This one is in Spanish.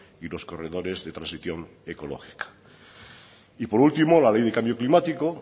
y los corredores de transición ecológica y por último la ley de cambio climático